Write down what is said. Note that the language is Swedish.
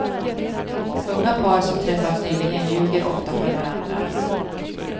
Unga par som träffats nyligen ljuger ofta för varandra.